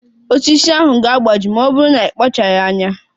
Osisi ahụ ga-agbaji ma ọ bụrụ na ị kpacharaghị anya.